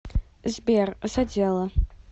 сбер задело